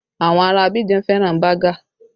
Àwọn ará Abidjan fẹ́ràn bágà